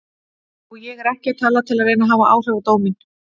Og ég er ekki að tala til að reyna að hafa áhrif á dóminn.